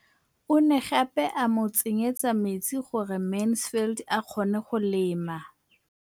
O ne gape a mo tsenyetsa metsi gore Mansfield a kgone go lema.